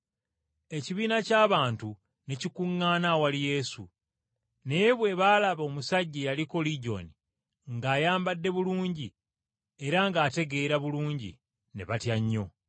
Ekibiina ky’abantu ne kikuŋŋaana awali Yesu, naye bwe baalaba omusajja eyaliko ligyoni ng’ayambadde bulungi era ng’ategeera bulungi, ne batya nnyo.